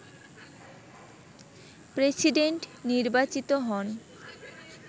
president নির্বাচিত হন